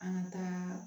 An ka taa